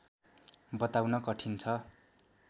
बताउन कठिन छ